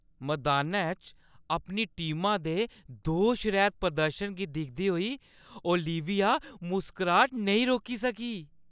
मदानै च अपनी टीमा दे दोश रैह्‌त प्रदर्शन गी दिखदे होई ओलिविया मुस्कराह्‌ट नेईं रोकी सकी।